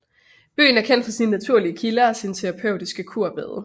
Byen er kendt for sine naturlige kilder og sine terapeutiske kurbade